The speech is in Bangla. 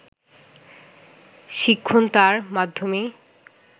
শিক্ষণ তাঁর মাধ্যমেই